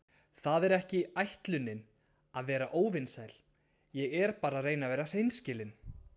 Það er ekki ætlunin að vera óvinsamleg, ég er bara að reyna að vera hreinskilin.